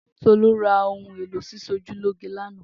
Tolú ra ohun èlò sísọjúlọ́ge lánàá